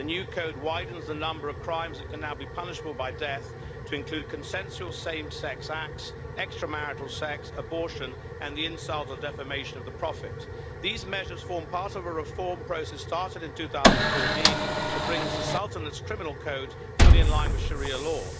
The new code widens the number of crimes that can now be punishable by death to include consensual same sex acts, extramarital sex, abortion and the insult or defamation of the Prophet. These measures form part of a reform process started in 2014 that brings the Sultan's criminal code fully in line with Sharia law.